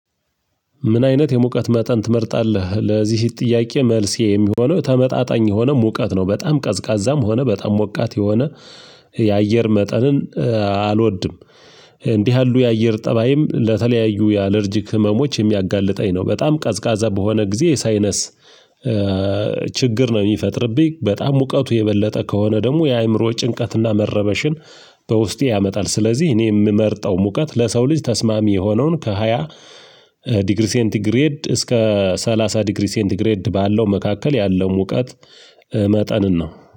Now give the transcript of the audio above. ምን አይነት የሙቀት መጠን ትመርጣለህ? ለዚህ ጥያቄ መልሴ የሚሆነው ተመጣጣኝ የሆነ ሙቀት ነው በጣም ቀዝቃዛም ሆነ በጣም ሞቃት የሆነ የአየር መጠንን አልወድም። እንዲህ ያሉ የአየር ጠባይም ለተለያዩ የአለርጂክ ህመሞች የሚያጋልጠኝ ነው በጣም ቀዝቃዛ በሆነ ጊዜ የሳይነስ ችግር ነው የሚፈጥርብኝ በጣም ሙቀቱ የበለጠ ከሆነ ደግሞ የአእምሮ ጭንቀትና መረበሽን በውስጤ ያመጣል። ስለዚህ እኔ የምመርጠው ሙቀት ለሰው ልጅ ተስማሚ የሆነውን ከሃያ ዲግሪ ሴንቲግሬድ እስከ ሰላሳ ዲግሪ ሴንቲግሬድ ባለው መካከል ያለው ሙቀት መጠንን ነው